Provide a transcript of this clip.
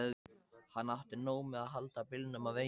Hann átti nóg með að halda bílnum á veginum.